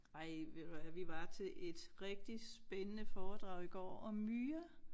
Ej ved du hvad vi var til et rigtig spændende foredrag i går om myrer